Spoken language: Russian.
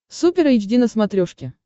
супер эйч ди на смотрешке